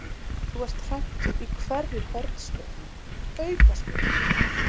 Þú ert hræddur í hverri hornspyrnu, aukaspyrnu.